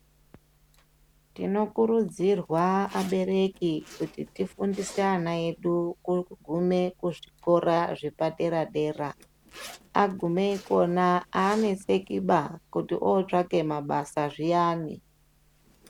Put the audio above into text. Tinokurudzirwa abereki kuti tifundise ana edu kugume kuzvikora zvepadera-dera. Agume kona haanesekiba kuti otsvaka mabasa zviyani.